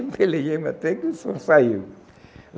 Pelejei mais até que o som saiu.